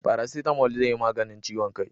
Farasitamo zai yi maganin ciwon kai